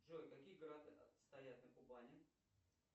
джой какие города стоят на кубани